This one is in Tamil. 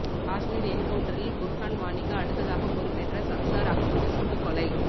காஷ்மீர் என்கவுன்ட்டரில் புர்ஹான் வானிக்கு அடுத்ததாக பொறுப்பேற்ற சப்சார் அகமது சுட்டுக் கொலை